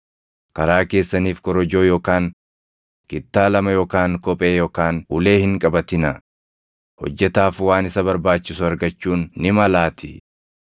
karaa keessaniif korojoo yookaan kittaa lama yookaan kophee yookaan ulee hin qabatinaa; hojjetaaf waan isa barbaachisu argachuun ni malaatii.